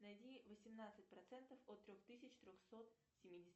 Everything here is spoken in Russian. найди восемнадцать процентов от трех тысяч трехсот семидесяти